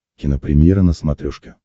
кинопремьера на смотрешке